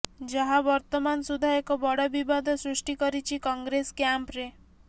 ଯାହା ବର୍ତମାନ ସୁଦ୍ଧା ଏକ ବଡ ବିବାଦ ସୃଷ୍ଟି କରିଛି କଂଗ୍ରେସ କ୍ୟାମ୍ପ ରେ